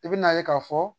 I bɛna ye k'a fɔ